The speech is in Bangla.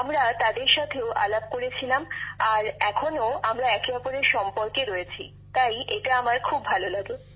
আমরা তাদের সাথেও আলাপ করেছিলাম আর এখনো আমরা একে অপরের সম্পর্কে রয়েছি তাই এটা আমার খুব ভালো লাগে